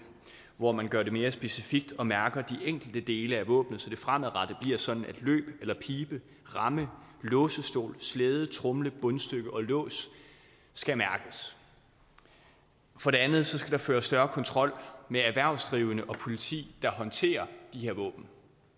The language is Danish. hvor man gør det mere specifikt og mærker de enkelte dele af våbnet så det fremadrettet bliver sådan at løb eller pibe ramme låsestol slæde tromle bundstykke og lås skal mærkes for det andet skal der føres større kontrol med erhvervsdrivende og politi der håndterer de her våben